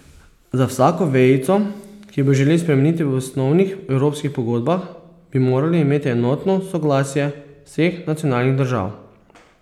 Za vsako vejico, ki bi jo želeli spremeniti v osnovnih evropskih pogodbah, bi morali imeti enotno soglasje vseh nacionalnih držav.